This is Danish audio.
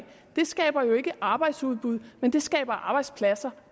skaber jo ikke arbejdsudbud men det skaber arbejdspladser